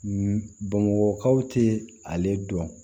bamakɔkaw tɛ ale dɔn